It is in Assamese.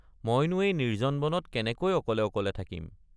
মইনো এই নিৰ্জ্জন বনত কেনেকৈ অকলে অকলে থাকিম।